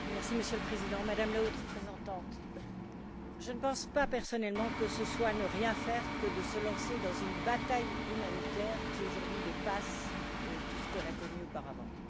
Monsieur le Président, Madame la Haute représentante, personnellement, je ne pense pas que ce soit ne rien faire que de se lancer dans une bataille humanitaire qui, aujourd'hui, dépasse tout ce qu'on a connu auparavant.